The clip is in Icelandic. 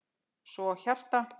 Svo hjarta.